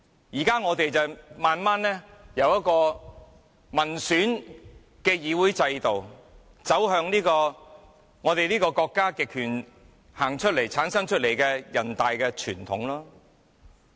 現在我們逐步由一個民選議會制度，走向國家極權產生出來的人大傳統。